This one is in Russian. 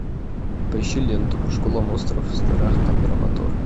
поищи ленту школа монстров страх камера мотор